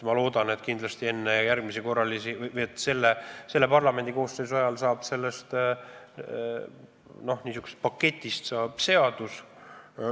Ma loodan, et enne järgmisi korralisi valimisi, selle parlamendikoosseisu ajal saab sellest n-ö paketist seadus.